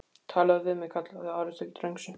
talaðu við mig, kallaði Ari til drengsins.